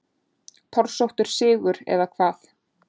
Torsóttur sigur eða hvað?